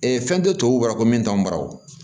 fɛn tɛ tubabula ko min t'anw bara wo